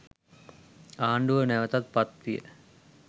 ආණ්ඩුව නැවතත් පත්විය.